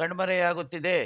ಕಣ್ಮರೆಯಾಗುತ್ತಿದೆ